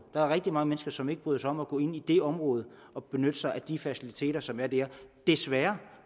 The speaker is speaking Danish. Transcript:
der er rigtig mange mennesker som ikke bryder sig om at gå ind i det område og benytte sig af de faciliteter som er der desværre